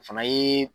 O fana ye